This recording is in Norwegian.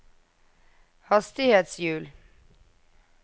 hastighetshjul